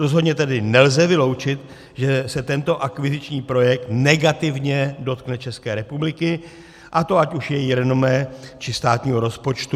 Rozhodně tedy nelze vyloučit, že se tento akviziční projekt negativně dotkne České republiky, a to ať už jejího renomé, či státního rozpočtu.